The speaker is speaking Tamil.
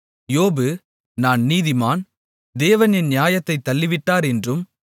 யோபு நான் நீதிமான் தேவன் என் நியாயத்தைத் தள்ளிவிட்டார் என்றும்